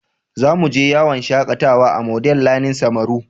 Za mu je yawon shakatawa a Model learning samaru.